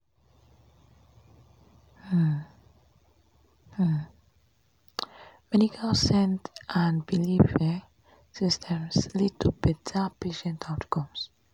pause — bridging pause — bridging pause medical send and belief um systems leads to betta patient outcomes